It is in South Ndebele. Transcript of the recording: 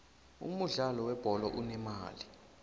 umudlalo we bholo unemali